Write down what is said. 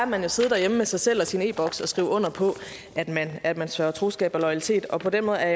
man at sidde derhjemme med sig selv og sin e boks og skrive under på at man sværger troskab og loyalitet og på den måde er